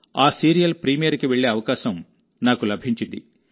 ఆ సీరియల్ ప్రీమియర్కి వెళ్లే అవకాశం నాకు లభించింది